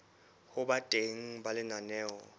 ho ba teng ha lenaneo